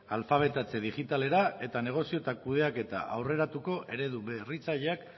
alfabetatze digitalera eta negozio eta kudeaketa aurreratuko eredu berritzaileak